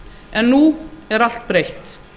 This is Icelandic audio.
en nú er allt breytt